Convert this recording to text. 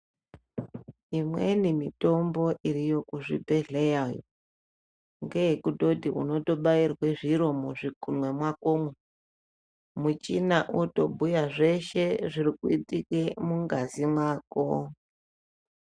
Imweni mitombo iriyo muzvibhedhlera umu ngeyekutoti uno tobayirwa zviro muzvigumwe mwakomu muchini yotobhuya zveshe zvirikuitike mungazi mwako.